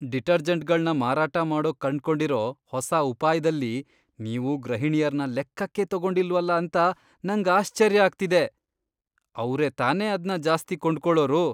ಡಿಟರ್ಜೆಂಟ್ಗಳ್ನ ಮಾರಾಟ ಮಾಡೋಕ್ ಕಂಡ್ಕೊಂಡಿರೋ ಹೊಸ ಉಪಾಯ್ದಲ್ಲಿ ನೀವು ಗೃಹಿಣಿಯರ್ನ ಲೆಕ್ಕಕ್ಕೇ ತಗೊಂಡಿಲ್ವಲ ಅಂತ ನಂಗ್ ಆಶ್ಚರ್ಯ ಆಗ್ತಿದೆ, ಅವ್ರೇ ತಾನೇ ಅದ್ನ ಜಾಸ್ತಿ ಕೊಂಡ್ಕೊಳೋರು!